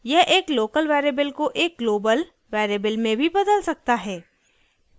* यह एक local variable को एक global variable में भी बदल सकता है